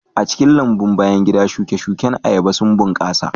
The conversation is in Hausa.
A cikin lambun bayan gida, shuke-shuken ayaba sun bunƙasa